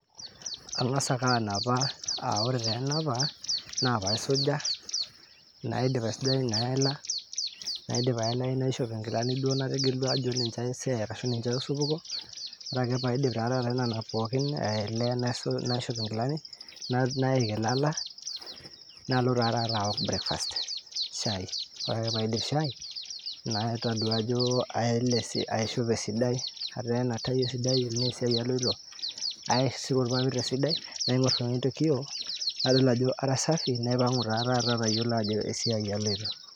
Angas ake anapa, aa ore ta enapa na paisuja, naidip aisujayu naela, nandip aelayu, naishop ingilani duo nategelua ajo ninche aiset ashu ninche aishopito, ore paindip nena pooki, elee nashop ingilani naik ialala nalo tata aok breakfast shai, ore ake paindip shai natodua ajo aele si aishope esidai, atena tai esidai, tena esiai aloito, asuro ilpapit esidai naingor tekio, nadol ajo kara safi naipangu ta naji atayiolo ajo esiai aloito.